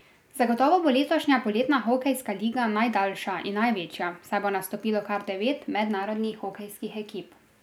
Zagotovo bo letošnja poletna hokejska liga najdaljša in največja, saj bo nastopilo kar devet mednarodnih hokejskih ekip.